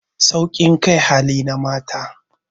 Saukin kai hali na mata